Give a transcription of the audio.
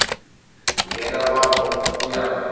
ngena kwabo mnyango